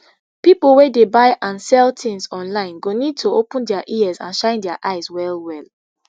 pipo wey dey buy and sell tins online go need to open dia ears and shine dia eyes wellwell